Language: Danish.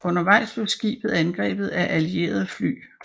Undervejs blev skibet angrebet af allierede fly